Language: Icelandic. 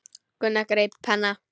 Gunnar greip penna.